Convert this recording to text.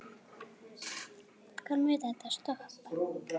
Hvar mun þetta stoppa?